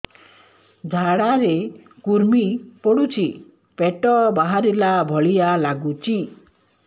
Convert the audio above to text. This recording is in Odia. ଝାଡା ରେ କୁର୍ମି ପଡୁଛି ପେଟ ବାହାରିଲା ଭଳିଆ ଲାଗୁଚି